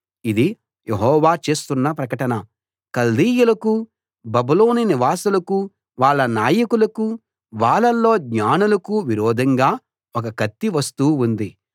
ఇది యెహోవా చేస్తున్న ప్రకటన కల్దీయులకూ బబులోను నివాసులకూ వాళ్ళ నాయకులకూ వాళ్ళల్లో జ్ఞానులకూ విరోధంగా ఒక కత్తి వస్తూ ఉంది